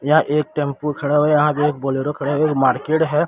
यहां एक टेंपू खड़ा और यहां पे एक बोलेरो खड़ा एक मार्केट है।